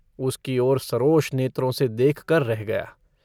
उसकी ओर सरोष नेत्रों से देखकर रह गया।